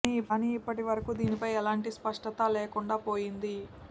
కాని ఇప్పటి వరకు దీనిపై ఏలాంటి స్పష్టత లేకుండా పోయింది